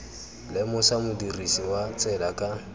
lemosa modirisi wa tsela ka